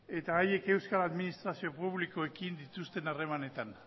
eta haiek euskal administrazio publikoekin dituzten harremanetan